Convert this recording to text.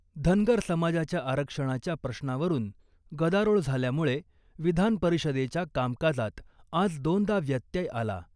धनगर समाजाच्या आरक्षणाच्या प्रश्नावरून गदारोळ झाल्यामुळे विधानपरिषदेच्या कामकाजात आज दोनदा व्यत्यय आला .